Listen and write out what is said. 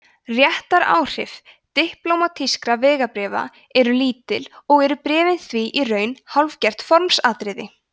réttaráhrif diplómatískra vegabréfa eru lítil og eru bréfin því í raun hálfgert formsatriði